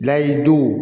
Layiduw